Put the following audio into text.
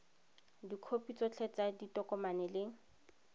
dikhopi tsotlhe tsa ditokomane le